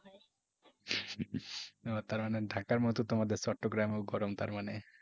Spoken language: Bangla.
ও তার মানে ঢাকার মতো তোমাদের চট্টগ্রামেও গরম তার মানে?